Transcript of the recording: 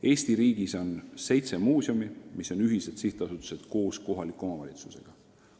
Eesti riigis on seitse muuseumi, mis on ühised sihtasutused koos kohaliku omavalitsusega.